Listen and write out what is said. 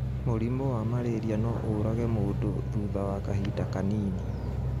Mũrimũwa Mararia no ũũrage mũndũthutha wa kahinda kanini